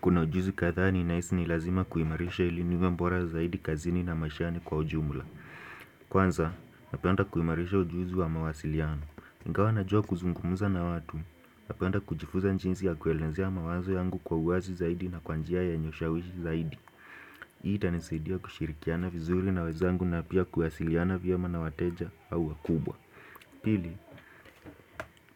Kuna ujuzi kadhaa ninahisi ni lazima kuimarisha ili niwe mbora zaidi kazini na mashani kwa ujumula. Kwanza, napenda kuimarisha ujuzi wa mawasiliano. Ingawa najua kuzungumuza na watu, napenda kujifuza njinsi ya kuelezea mawazo yangu kwa uwazi zaidi na kwa njia yenye ushawishi zaidi. Hii itanisaidia kushirikiana vizuri na wezangu na pia kuwasiliana vyema na wateja au wakubwa. Pili,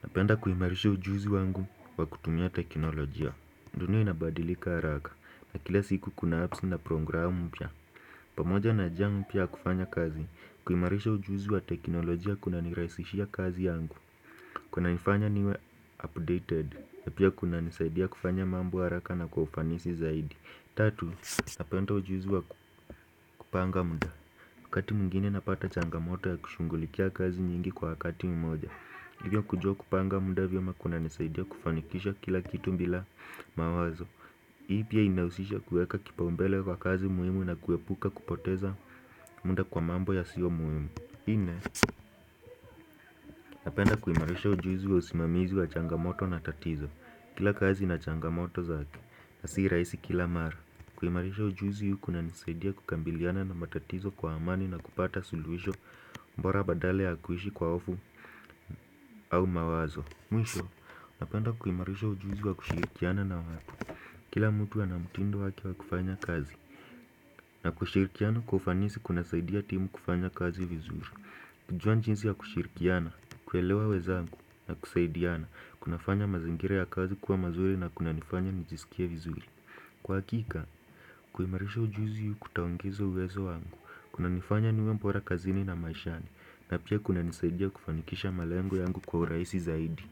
napenda kuimarisha ujuzi wangu wa kutumia teknolojia. Ndunia inabadilika haraka na kila siku kuna apps na programu mpya pamoja na jia mpya ya kufanya kazi kuimarisha ujuzi wa teknolojia kunaniraisishia kazi yangu kunanifanya niwe updated na pia kunanisaidia kufanya mambo haraka na kwa ufanisi zaidi Tatu, napenda ujuzi wa kupanga mda wakati mwingine napata changamoto ya kushungulikia kazi nyingi kwa wakati mmoja hivyo kujuwa kupanga mda vyema kunanisaidia kufanikisha kila kitu mbila mawazo Hii pia inausisha kueka kipaumbele kwa kazi muhimu na kuepuka kupoteza munda kwa mambo yasio muhimu. Ine, napenda kuimarisha ujuzi wa usimamizi wa changamoto na tatizo Kila kazi na changamoto zake, na si raisi kila mara kuimarisha ujuzi kunanisaidia kukambiliana na matatizo kwa amani na kupata suluhisho mbora badala ya kuhishi kwa ofu au mawazo Mwisho, napenda kuimarisha ujuzi wa kushirikiana na watu Kila mtu ana mutindo wake wa kufanya kazi na kushirikiana kwa ufanisi kunasaidia timu kufanya kazi vizuri kujua njinsi ya kushirikiana, kuelewa wezangu na kusaidiana kunafanya mazingira ya kazi kuwa mazuri na kunanifanya nijisikie vizuri Kwa hakika, kuimarisha ujuzi kutaongeza uwezo wangu kunanifanya niwe mbora kazini na maishani na pia kunanisaidia kufanikisha malengo yangu kwa uraisi zaidi.